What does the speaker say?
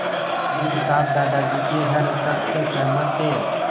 आनन्द साहब दादाजी के हर शब्द से सहमत थे